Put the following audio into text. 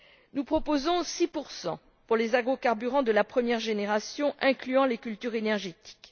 Nous proposons 6 pour les agrocarburants de la première génération, incluant les cultures énergétiques.